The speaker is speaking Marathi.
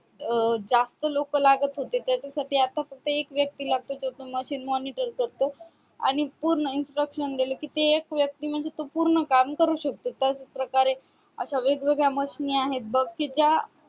अं जास्त लोक लागत होते त्याच्यासाठी आता फक्त एक व्यक्ती लागतो त्याच machine monitor करतो आणि पूर्ण instructions दिले कि ते एक व्यक्ती म्हणजे तो पूर्ण काम करू शकतो तस प्रकारे अश्या वेगवेगड्या mashine आहे बग कि ज्या